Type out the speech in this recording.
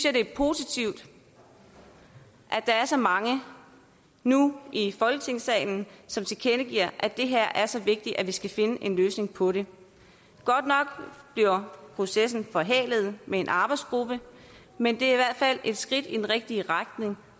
at det er positivt at der er så mange nu i folketingssalen som tilkendegiver at det her er så vigtigt at vi skal finde en løsning på det godt nok bliver processen forhalet med en arbejdsgruppe men det er i fald et skridt i den rigtige retning